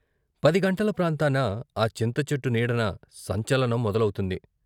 పది గంటల ప్రాంతాన ఆ చింతచెట్టు నీడన సంచలనం మొదలవుతుంది.